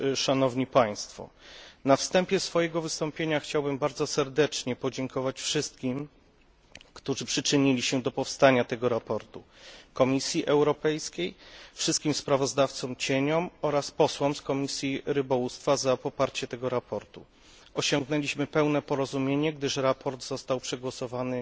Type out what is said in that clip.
Na wstępie swojego wystąpienia chciałbym bardzo serdecznie podziękować wszystkim, którzy przyczynili się do powstania tego sprawozdania Komisji Europejskiej, wszystkim sprawozdawcom cieniom oraz posłom z Komisji Rybołówstwa za poparcie tego sprawozdania. Osiągnęliśmy pełne porozumienie, gdyż sprawozdanie zostało przegłosowane